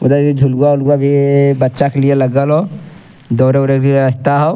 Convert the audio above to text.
उधर इ झुलवा-उलवा भी इइ बच्चा के लिए लगल हौ दौरे-ऊरे क रस्ता हो।